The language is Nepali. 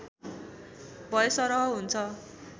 भएसरह हुन्छ